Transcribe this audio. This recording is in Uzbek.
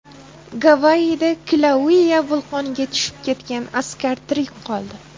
Gavayida Kilauea vulqoniga tushib ketgan askar tirik qoldi.